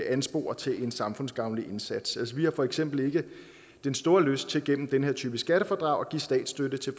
anspore til en samfundsgavnlig indsats altså vi har for eksempel ikke den store lyst til gennem den her type skattefradrag at give statsstøtte til